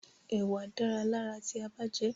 Ẹ̀wà dára lára ti a bá jẹẹ́.